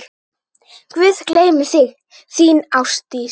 Guð geymi þig, þín, Ásdís.